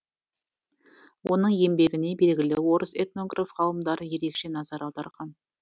оның еңбегіне белгілі орыс этнограф ғалымдары ерекше назар аударған